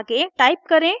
आगे टाइप करें